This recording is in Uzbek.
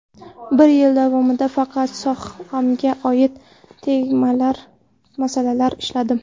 Bir yil davomida faqat sohamga oid tenglamalar, masalalar ishladim.